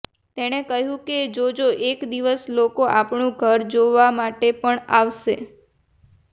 તેણે કહેલું કે જોજો એક દિવસ લોકો આપણું ઘર જોવા માટે પણ આવશે